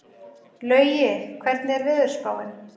Laugi, hvernig er veðurspáin?